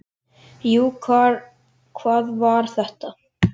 Jú, hvað var þetta?